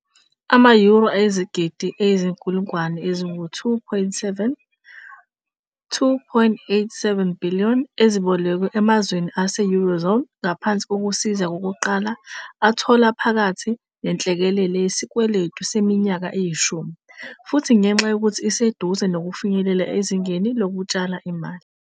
ama-euro ayizigidi eziyizinkulungwane ezingu-2.7, 2.87 billion, ezibolekwe emazweni ase-Eurozone ngaphansi kokusiza kokuqala athola phakathi nenhlekelele yesikweletu seminyaka eyishumi, futhi ngenxa yokuthi iseduze nokufinyelela ezingeni lokutshala imali.